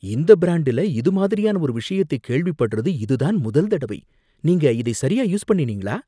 இந்த பிரண்டுல இது மாதிரியான ஒரு விஷயத்தை கேள்விப்படுறது இதுதான் முதல் தடவை. நீங்க இதை சரியா யூஸ் பண்ணினீங்களா?